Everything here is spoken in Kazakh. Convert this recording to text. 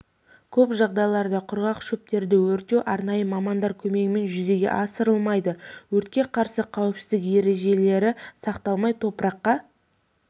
көп жағдайларда құрғақ шөптерді өртеу арнайы мамандар көмегімен жүзеге асырылмайды өртке қарсы қауіпсіздік ережелері сақталмай топыраққа